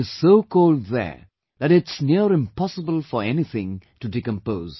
It is so cold there that its near impossible for anything to decompose